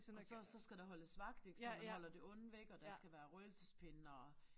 Og så så skal der holdes vagt ik så man holder det onde væk og der skal være røgelsespinde og